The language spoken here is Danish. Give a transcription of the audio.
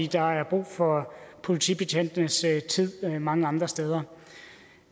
der er brug for politibetjentenes tid mange andre steder